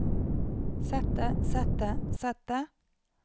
sette sette sette